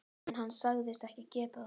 En hann sagðist ekki geta það.